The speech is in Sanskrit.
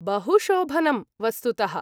बहुशोभनम्, वस्तुतः।